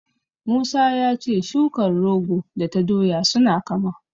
Musa ya ce shukar rogo da ta doya suna kama.